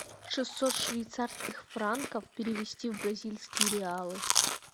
шестьсот швейцарских франков перевести в бразильские реалы